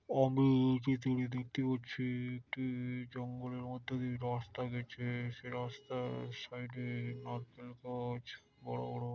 আমি এই চিত্রটিতে দেখতে পাচ্ছি একটি জঙ্গলের মধ্যে দিয়ে রাস্তা গেছে। সেই রাস্তার সাইড -এ নারকেল গাছ বড়ো বড়ো।